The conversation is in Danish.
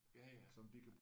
Ja ja